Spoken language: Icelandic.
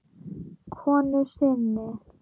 konu sinni.